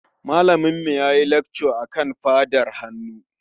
Malaminmu ya yi lacca akan faɗar hannu.